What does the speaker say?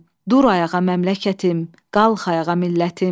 Dur ayağa məmləkətim, qalx ayağa millətim.